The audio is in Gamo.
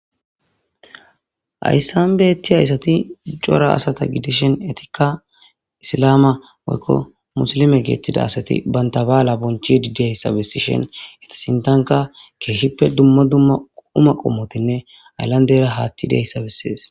Haysan betiya assati cora asata gidishen etikka isilama moykko musilime geettida asati bantabaala bonchidi deyssabesishen etisintanka keeshippe dummo dumma quma qommotinne ayllandera haatti deyssabessees